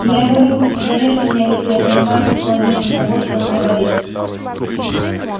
я его люблю но зарежь меня если я понимаю хоть половину из того что он говорит